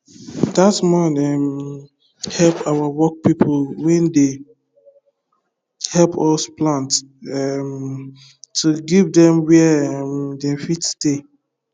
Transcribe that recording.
that man um help our work people wen dey help us plant um to give them where um them fit stay